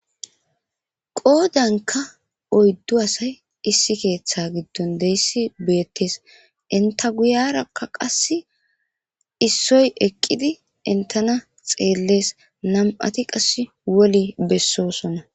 Qodanka oydu asay issi ketha gidon deys betes, enta guyaraka qasi issoy eqidi entana xeles nam'ati qase woli besosona